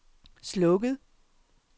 slukket